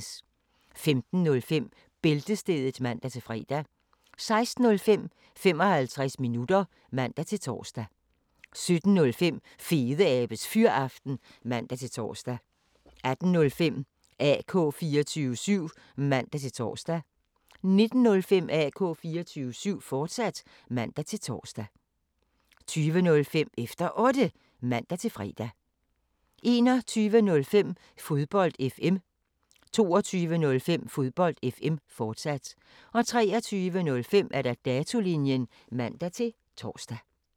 15:05: Bæltestedet (man-fre) 16:05: 55 minutter (man-tor) 17:05: Fedeabes Fyraften (man-tor) 18:05: AK 24syv (man-tor) 19:05: AK 24syv, fortsat (man-tor) 20:05: Efter Otte (man-fre) 21:05: Fodbold FM 22:05: Fodbold FM, fortsat 23:05: Datolinjen (man-tor)